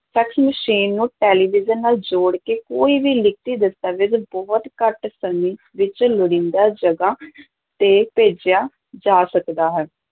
fax machine ਨੂੰ television ਨਾਲ ਜੋੜ ਕੇ ਕੋਈ ਵੀ ਲਿਖਤੀ ਦਸਤਾਵੇਜ ਬਹੁਤ ਘੱਟ ਸਮੇਂ ਵਿੱਚ ਲੋੜੀਂਦਾ ਜਗ੍ਹਾ ਤੇ ਭੇਜਿਆ ਜਾ ਸਕਦਾ ਹੈ